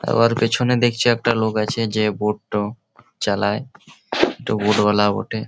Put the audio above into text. আবার পেছনে দেখছি একটা লোক আছে যে বোট টো চালায়। তো বোট ওয়ালা বটে ।